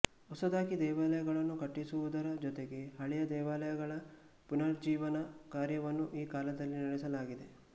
ಹೊಸದಾಗಿ ದೇವಾಲಯಗಳನ್ನು ಕಟ್ಟಿಸುವುದರ ಜೊತೆಗೆ ಹಳೆಯ ದೇವಾಲಯಗಳ ಪುನುರುಜ್ಜೀವನ ಕಾರ್ಯವನ್ನು ಈ ಕಾಲದಲ್ಲಿ ನೆಡೆಸಲಾಗಿದೆ